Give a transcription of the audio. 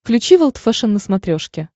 включи волд фэшен на смотрешке